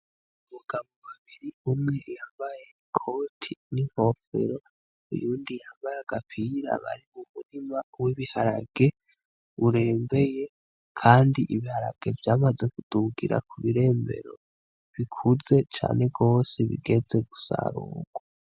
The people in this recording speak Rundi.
Buga mu babiri umwe yabaye ikoti n'inkofero uyundi yambara aga apira bari uburima w'ibiharage urembeye, kandi ibiharage vyamaze kudugira ku birembero bikuze cane rwose bigeze gusarurwa.